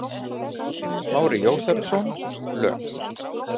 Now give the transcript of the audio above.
Smári Jósepsson, lög